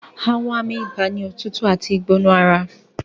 Àwọn àmì ibà ni òtútù àti ìgbóná ara